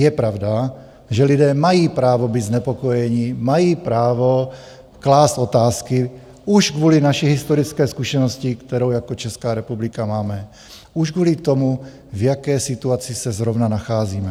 Je pravda, že lidé mají právo být znepokojeni, mají právo klást otázky už kvůli naší historické zkušenosti, kterou jako Česká republika máme, už kvůli tomu, v jaké situaci se zrovna nacházíme.